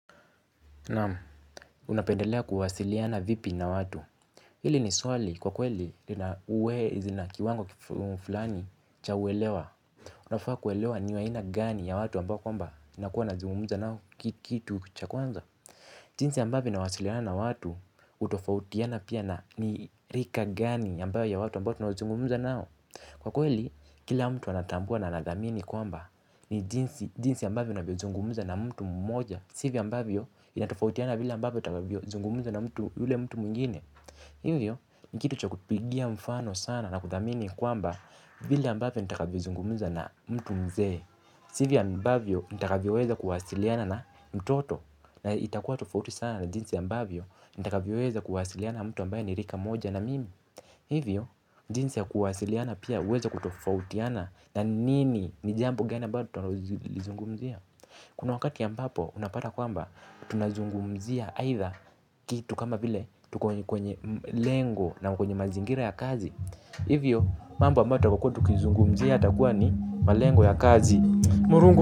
Naam unapendelea kuwasiliana vipi na watu. Hili ni swali kwa kweli uwezi na kiwango fulani cha welewa. Unafaa kwelewa niwaina gani ya watu ambao kwamba inakuwa nazungumuza nao kitu kucha kwanza. Jinsi ambavoi nawasiliana na watu utofautiana pia na ni rika gani ambayo ya watu ambao tu na zungumuza nao. Kwa kweli kila mtu anatambua na nadamini kwamba ni jinsi ambavio nazungumuza na mtu mmoja. Sivyo ambavyo itatofautiana vila ambavyo itatofautiana na mtu mtu muingine. Hivyo ni kitu cha kupigia mfano sana na kuthamini kwamba vile ambavyo nitakavyozungumza na mtu mzee. Sivyo ambavyo nitakavyoweza kuwasiliana na mtoto na itakua tofauti sana na jinsi ambavyo nitakavyoweza kuwasiliana na mtu ambaye ni rika moja na mimi. Hivyo jinsi ya kuwasiliana pia huweza kutofautiana na nini ni jambo gani ambalo tutakalolizungumzia. Kuna wakati ambapo unapata kwamba tunazungumzia aitha kitu kama vile tuko enye kwenye lengo na kwenye mazingira ya kazi. Hivyo mambo ambayo tutakuwa tukizungumzia yatakuwa ni malengo ya kazi.